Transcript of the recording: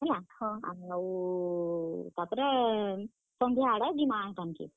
ହେଲା, ହଁ ଆମେ ଆଉ ତାପ୍ ରେ ସଂଧ୍ୟା ଆଡ୍ କେ ଯିମା ହେଆଡ୍ କେ।